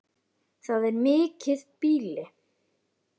Það er mikið býli.